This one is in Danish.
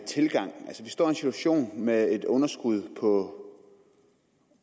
tilgang altså vi står i en situation med et underskud på